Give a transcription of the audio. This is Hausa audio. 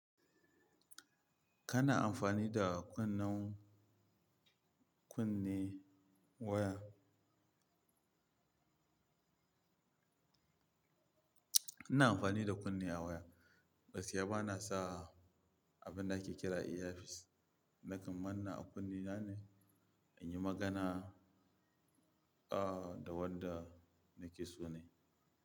Kana amfani da kunnen kunne waya? Ina amfani da kunne a waya, gaskiya bana sa abin da ake kira earpiece. Nakan manne a kunnena ne in yi magana, ah, da wanda nake so ne.